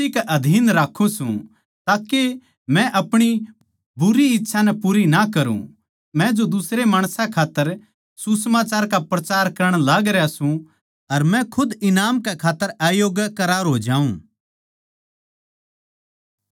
मै अपणी देह नै मसीह के अधीन राक्खुं सूं ताके मै अपणी बुरी इच्छा नै पूरी ना करुँ मै जो दुसरे माणसां खात्तर सुसमाचार का प्रचार करण लाग रह्या सूं अर मै खुद ईनाम कै खात्तर अयोग्य करार हो जाऊँ